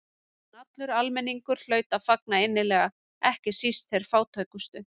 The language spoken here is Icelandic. En allur almenningur hlaut að fagna innilega, ekki síst þeir fátækustu.